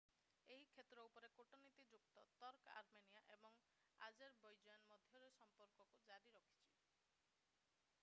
ଏହି କ୍ଷେତ୍ର ଉପରେ କୂଟନୀତିଯୁକ୍ତ ତର୍କ ଆର୍ମେନିଆ ଏବଂ ଆଜେରବୈଜାନ ମଧ୍ୟରେ ସମ୍ପର୍କକୁ ଜାରି ରଖିଛି